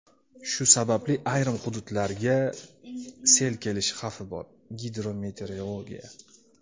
Shu sababli ayrim hududlarga sel kelishi xavfi bor – "Gidrometeorologiya".